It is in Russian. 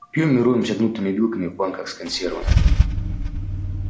пьём и роемся гнутыми вилками в банках с консервами